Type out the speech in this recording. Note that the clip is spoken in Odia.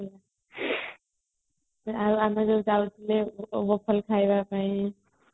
ଆଉ ଆମେ ଯାଉ ଯାଉଥିଲେ ଖାଇବା ପାଇଁ